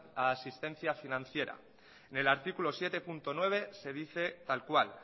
a asistencia financiera en el artículo siete punto nueve se dice tal cual